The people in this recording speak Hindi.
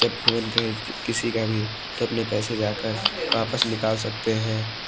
जब भी मन कहे किसी का भी तो अपने पैसे जाकर वापस निकाल सकते हैं।